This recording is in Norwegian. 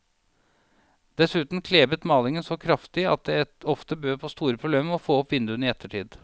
Dessuten klebet malingen så kraftig at det ofte bød på store problemer å få opp vinduene i ettertid.